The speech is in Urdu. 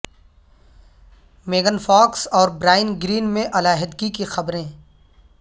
میگن فاکس اور برائن گرین میں علیحدگی کی خبریں